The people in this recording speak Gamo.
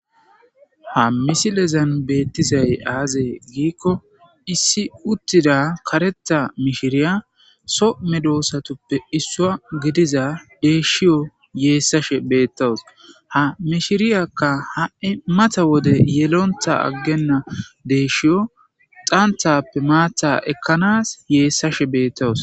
Ha misiliyan beettiyaazay azee gikko, issi uttida kareethta mishirriyaa; soo mehedosatuppe issuva gidiidda deyshiyoo zaysashee beettawus. Ha mishirriyakka ha'i mata wode yelontta aggenna deyshiyoappe dhanathta maththta ekkanaw zaysashee beettawus.